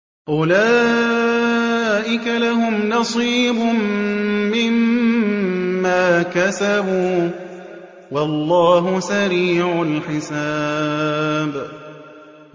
أُولَٰئِكَ لَهُمْ نَصِيبٌ مِّمَّا كَسَبُوا ۚ وَاللَّهُ سَرِيعُ الْحِسَابِ